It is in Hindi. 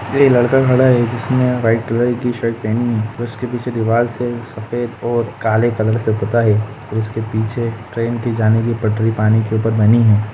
एक लड़का खडा है जिसने वाइट कलर की शर्ट पहनी है उसके पीछे दिवार से सफ़ेद और काले कलर से पुता है और उसके पीछे ट्रैन की जाने की पटरी पानी के ऊपर बनी है।